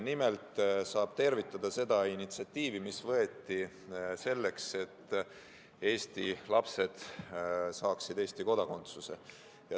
Nimelt saab tervitada seda initsiatiivi, mis võeti selleks, et Eesti lapsed saaksid Eesti kodakondsuse.